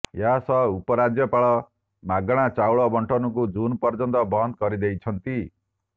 ଏହାସହ ଉପରାଜ୍ୟପାଳ ମାଗଣା ଚାଉଳ ବଣ୍ଟନକୁ ଜୁନ୍ ପର୍ଯ୍ୟନ୍ତ ବନ୍ଦ କରିଦେଇଛନ୍ତି